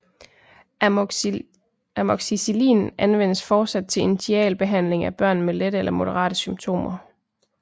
Amoxicillin anvendes fortsat til initialbehandling af børn med lette eller moderate symptomer